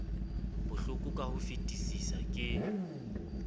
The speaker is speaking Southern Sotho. bohloko ka ho fetisisa ke